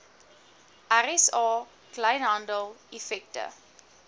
rsa kleinhandel effekte